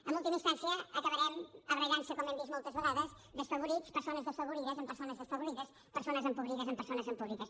en última instància acabarem barallant nos com hem vist moltes vegades desafavorits persones desafavorides amb persones desafavorides persones empobrides amb persones empobrides